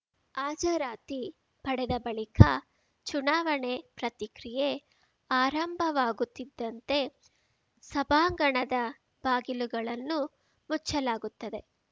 ಹಾಜರಾತಿ ಪಡೆದ ಬಳಿಕ ಚುನಾವಣೆ ಪ್ರತಿಕ್ರಿಯೆ ಆರಂಭವಾಗುತ್ತಿದ್ದಂತೆ ಸಭಾಂಗಣದ ಬಾಗಿಲುಗಳನ್ನು ಮುಚ್ಚಲಾಗುತ್ತದೆ